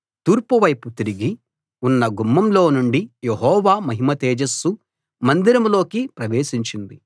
తూర్పు వైపు తిరిగి ఉన్న గుమ్మం లోనుండి యెహోవా మహిమ తేజస్సు మందిరంలోకి ప్రవేశించింది